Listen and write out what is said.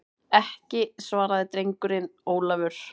Ekki, svaraði drengurinn Ólafur.